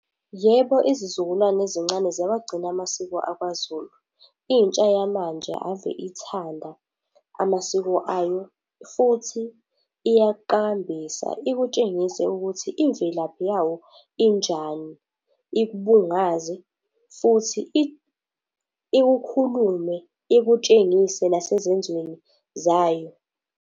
Yebo izizukulwane ezincane ziyawagcina amasiko akwaZulu. Intsha yamanje ave ithanda amasiko ayo futhi iyakuqakambisa, ikutshengise ukuthi imvelaphi yawo injani. Ikubungaze, futhi ikukhulume, ikutshengise nasezenzweni zayo.